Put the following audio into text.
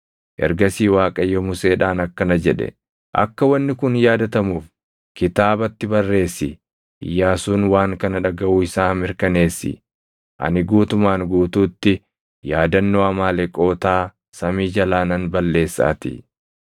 Ergasii Waaqayyo Museedhaan akkana jedhe; “Akka wanni kun yaadatamuuf kitaabatti barreessi; Iyyaasuun waan kana dhagaʼuu isaa mirkaneessi; ani guutumaan guutuutti yaadannoo Amaaleqootaa samii jalaa nan balleessaatii.”